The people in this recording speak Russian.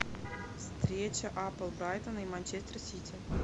встреча апл брайтона и манчестер сити